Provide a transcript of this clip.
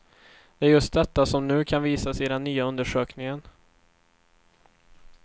Det är just detta som nu kan visas i den nya undersökningen.